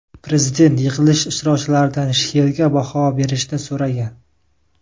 Prezident yig‘ilish ishtirokchilaridan she’rga baho berishni so‘ragan.